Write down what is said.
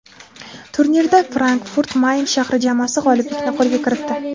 Turnirda Frankfurt-Mayn shahri jamoasi g‘oliblikni qo‘lga kiritdi.